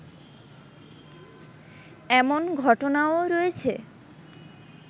এমন ঘটনাও রয়েছে